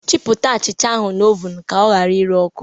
Chịpụta achịcha ahụ n'ovunu ka ha ghara ire ọkụ!